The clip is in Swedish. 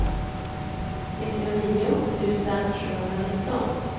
nittionio tusen sjuhundranitton